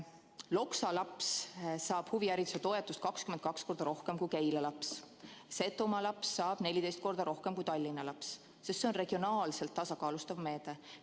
Loksa laps saab huvihariduse toetust 22 korda rohkem kui Keila laps ning Setomaa laps saab 14 korda rohkem kui Tallinna laps, sest see on regionaalselt tasakaalustav meede.